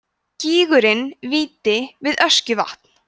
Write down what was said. gígurinn víti við öskjuvatn